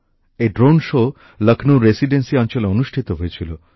এই drone show লখনৌর residency অঞ্চলে অনুষ্ঠিত হয়েছিল